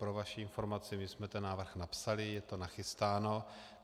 Pro vaši informaci - my jsme ten návrh napsali, je to nachystáno.